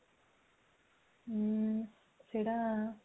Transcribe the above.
ହଁ ସେଟା